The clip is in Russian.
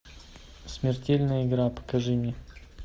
смертельная игра покажи мне